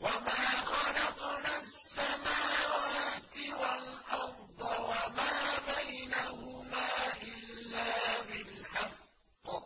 وَمَا خَلَقْنَا السَّمَاوَاتِ وَالْأَرْضَ وَمَا بَيْنَهُمَا إِلَّا بِالْحَقِّ ۗ